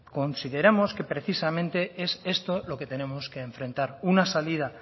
consideramos que precisamente es esto lo que tenemos que enfrentar una salida